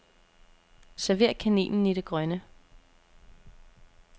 Server kaninen i det grønne.